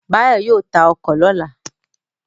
Báyọ̀ yóò ta ọkọ̀ lọ́la